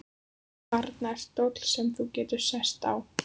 Þarna er stóll sem þú getur sest á.